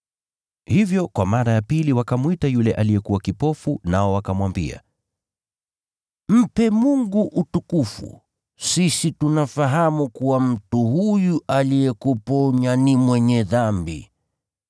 Hivyo kwa mara ya pili wakamwita yule aliyekuwa kipofu, nao wakamwambia, “Mpe Mungu utukufu! Sisi tunafahamu kuwa mtu huyu aliyekuponya ni mwenye dhambi.”